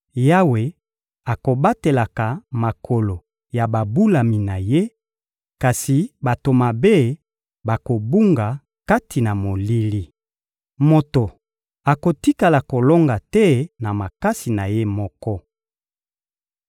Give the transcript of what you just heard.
Yawe akobatelaka makolo ya babulami na Ye, kasi bato mabe bakobunga kati na molili. Moto akotikala kolonga te na makasi na ye moko.